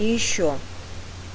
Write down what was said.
ещё